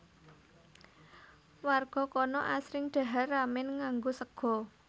Warga kana asring dhahar ramen nganggo sega